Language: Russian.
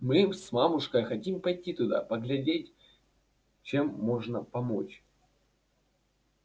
мы с мамушкой хотим пойти туда поглядеть чем можно помочь